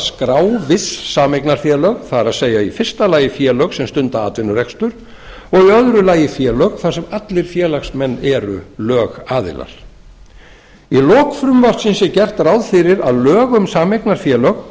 skrá viss sameignarfélög það er í fyrsta lagi félög sem stunda atvinnurekstur og í öðru lagi félög þar sem allir félagsmenn eru lögaðilar í lok frumvarpsins er gert ráð fyrir að lög um sameignarfélög